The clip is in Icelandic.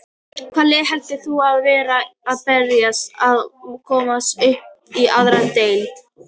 Hvaða lið heldur þú að verði að berjast um að komast upp í aðra deild?